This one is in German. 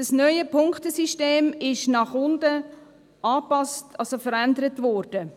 Das neue Punktesystem ist nach unten angepasst, also verändert worden.